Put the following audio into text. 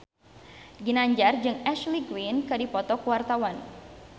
Ginanjar jeung Ashley Greene keur dipoto ku wartawan